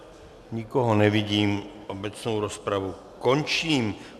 Nikoho nevidím, obecnou rozpravu končím.